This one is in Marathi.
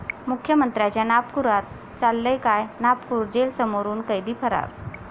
मुख्यमंत्र्यांच्या नागपुरात चाललंय काय? नागपूर जेलसमोरून कैदी फरार